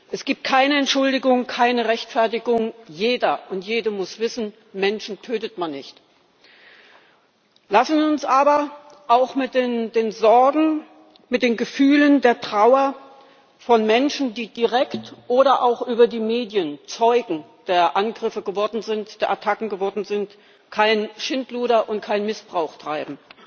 Es gibt keine Entschuldigung, keine Rechtfertigung. Jeder und jede muss wissen Menschen tötet man nicht! Lassen Sie uns aber auch mit den Sorgen, mit den Gefühlen der Trauer von Menschen, die direkt oder auch über die Medien Zeugen der Attacken geworden sind, kein Schindluder und keinen Missbrauch treiben.